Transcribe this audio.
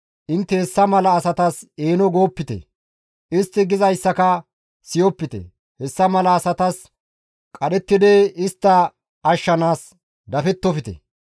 intte hessa mala asatas eeno goopite; istti gizayssaka siyopite; hessa mala asatas qadhettidi istta ashshanaas dafettofte.